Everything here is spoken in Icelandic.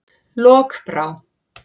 Lokbrá